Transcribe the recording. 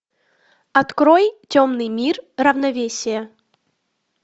открой темный мир равновесие